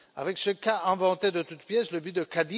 Avec ce cas, inventé de toutes pièces, le but de M.